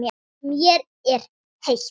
Mér er heitt.